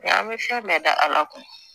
Nka an bɛ fɛn bɛɛ da ala kun